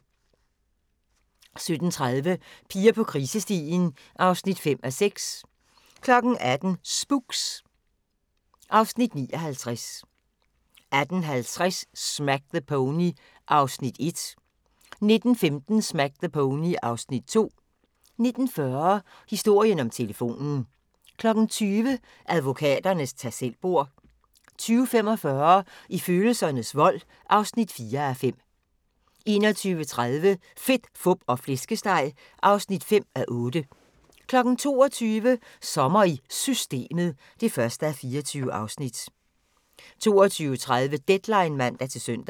17:30: Piger på krisestien (5:6) 18:00: Spooks (Afs. 59) 18:50: Smack the Pony (Afs. 1) 19:15: Smack the Pony (Afs. 2) 19:40: Historien om telefonen 20:00: Advokaternes tag selv-bord 20:45: I følelsernes vold (4:5) 21:30: Fedt, fup og flæskesteg (5:8) 22:00: Sommer i Systemet (1:24) 22:30: Deadline (man-søn)